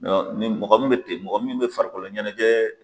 ni mɔgɔ min bɛ ten mɔgɔ min bɛ farikolo ɲɛnɛjɛ